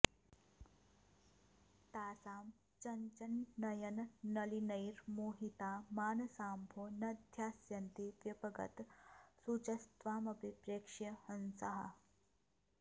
तासां चञ्चन्नयननलिनैर्मोहिता मानसाम्भो न ध्यास्यन्ति व्यपगतशुचस्त्वामपि प्रेक्ष्य हंसाः